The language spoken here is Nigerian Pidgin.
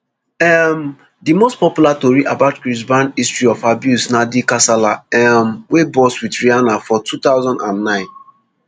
um di most popular tori about chris brown history of abuse na di kasala um wey burst wit rihanna for two thousand and nine